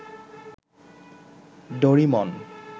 ডরিমন